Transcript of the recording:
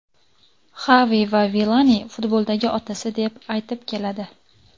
Xavi ham Vilani futboldagi otasi deb aytib keladi.